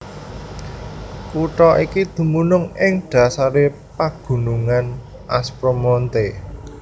Kutha iki dumunung ing dhasaré pagunungan Aspromonte